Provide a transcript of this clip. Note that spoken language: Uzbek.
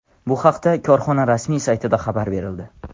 Bu haqda korxona rasmiy saytida xabar berildi .